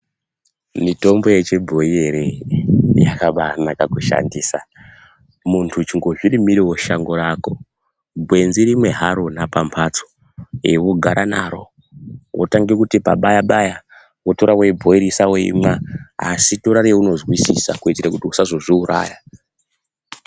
Mitombo yechibhoyi ere yakabanaka kushandisa. Muntu chingozvirimirewo shango rako gwenzi rimwe haro pamhatso wogara naro wotanga kuti pabaya-baya wotora weibhoirisa weimwa. Asi tora raunozwisisa kuitira kuti usazozviuraya.